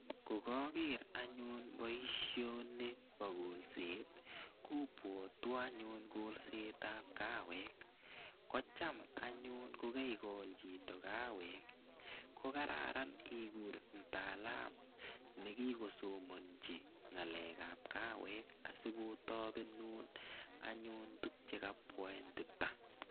Ko kaker anyun poishoni pa kolset kopwatwa anyun kolset ap kaweek. Ko cham anyun ko kaikol chito kaweek ko kararan ikur chito mtaalamu ne kikosomanchi ng'alek ap kaweek asiko tapenun anyun tuguk che kapetita.